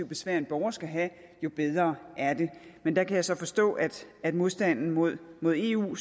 besvær en borger skal have jo bedre er det men der kan jeg så forstå at modstanden mod mod eu